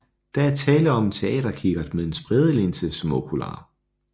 Der er tale om en teaterkikkert med en spredelinse som okular